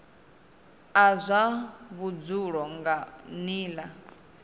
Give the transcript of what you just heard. a zwa vhudzulo nga nila